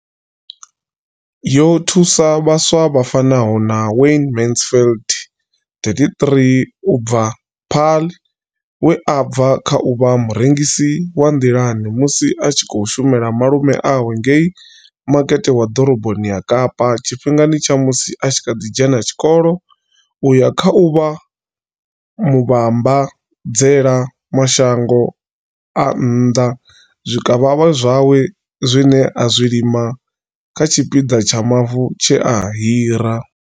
Yo thusa vhaswa vha fanaho na Wayne Mansfield 33 u bva Paarl, we a bva kha u vha murengisi wa nḓilani musi a tshi khou shumela malume awe ngei Makete wa Ḓoroboni ya Kapa tshifhingani tsha musi a kha ḓi dzhena tshikolo u ya kha u vha muvhambadzela mashango a nnḓa zwikavhavhe zwawe zwine a zwi lima kha tshipiḓa tsha mavu tshe a hira.